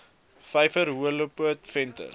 vyver horrelpoot venter